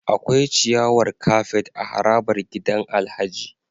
Akwai ciyawar kafet a harabar gidan Alhaji